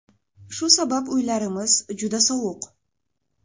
Shu sabab uylarimiz juda sovuq.